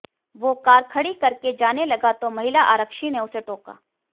वो कार खड़ी करके जाने लगा तो महिला आरक्षी ने उसे टोका